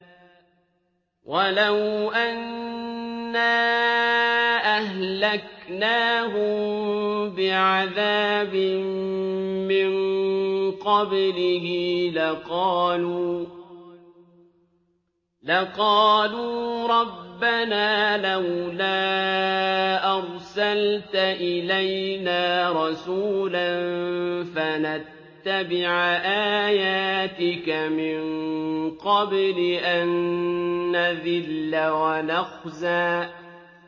وَلَوْ أَنَّا أَهْلَكْنَاهُم بِعَذَابٍ مِّن قَبْلِهِ لَقَالُوا رَبَّنَا لَوْلَا أَرْسَلْتَ إِلَيْنَا رَسُولًا فَنَتَّبِعَ آيَاتِكَ مِن قَبْلِ أَن نَّذِلَّ وَنَخْزَىٰ